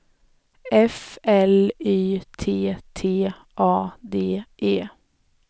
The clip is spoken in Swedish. F L Y T T A D E